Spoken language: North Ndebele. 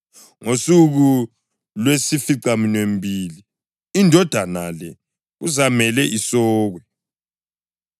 Ngosuku lwesificaminwembili indodana le kuzamele isokwe.